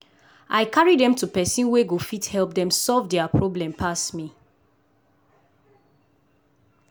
i carry dem to person wey go fit help dem solve dia problem pass me.